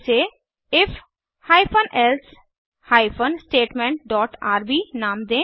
इसे if hyphen else hyphen statement dot RB नाम दें